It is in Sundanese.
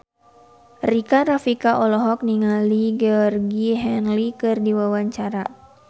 Rika Rafika olohok ningali Georgie Henley keur diwawancara